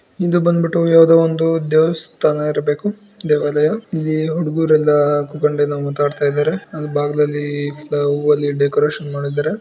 ಇದು ಬಂದ್ಬಿಟ್ಟು ಯಾವುದೋ ಒಂದು ದೇವಸ್ಥಾನ ಇರಬೇಕು ದೇವಾಲಯ ಇಲ್ಲಿ ಹುಡುಗರೆಲ್ಲ ಕುತ್ಕೊಂಡೆಲ್ಲ ಮಾತಾಡ್ತಿದ್ದಾರೆ ಅಲ್ಲಿ ಬಾಗಿಲಲ್ಲಿ ಎಲ್ಲಿ ಡೆಕೋರೇಷನ್ ಮಾಡಿದರೆ.